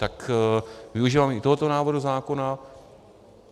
Tak využívám i tohoto návrhu zákona.